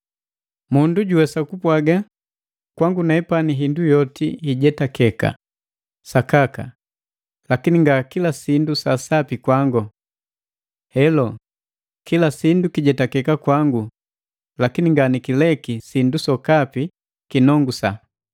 Mundu juwesa kupwaga, “Kwangu nepani hindu yoti hijetakeka” Sakaka, lakini nga kila sindu sa sapi kwangu. Helo, kila sindu kijetakeka kwangu lakini nganikileki sindu sokapi kinongusa.